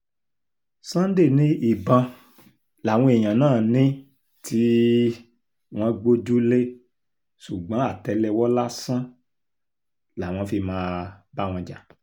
sunday ni ìbọn làwọn èèyàn náà ní tí um wọ́n gbójú-lẹ̀ ṣùgbọ́n àtẹ́lẹwọ́ lásán làwọn fi máa um bá wọn jà